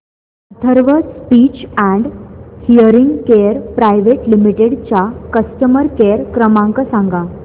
Atharva speech and hearing care private limited चा customer care क्रमांक सांगा